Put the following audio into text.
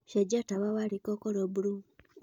cenjĩa tawa wa rĩko ũkorwo burũũ